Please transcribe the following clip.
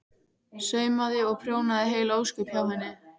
Saumaði og prjónaði heil ósköp hjá henni.